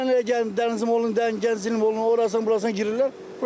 Gələnlər gəlir Dəniz molundan, Gənclik molundan orasına, burasına girirlər.